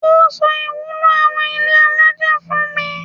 Ó sọ ìwúlò àwon ilé alájà fún mi.